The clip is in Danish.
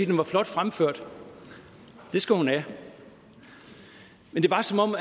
den var flot fremført det skal hun have men det var som om